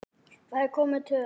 Þá er komin töf.